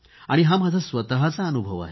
हा माझा स्वतःचा अनुभव आहे